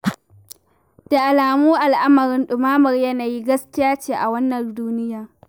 Da alamu al'amarin ɗumamar yanayi gaskiya ce a wannan duniyar.